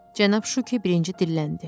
Cənab Şuki birinci dilləndi.